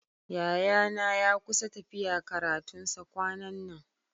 Yayana ya kusa tafiya karatun sa kwanan nan.